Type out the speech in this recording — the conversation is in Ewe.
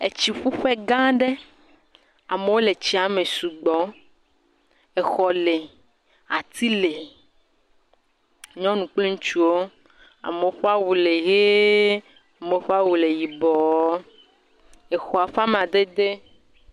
Etsiƒuƒe gã aɖe, amewo le tsia me sugbɔ, exɔ le, ati le, nyɔnu kple ŋutsuwo, amewo ƒe awu le ʋee, amewo ƒe awu yibɔɔ, exɔa ƒe amadede…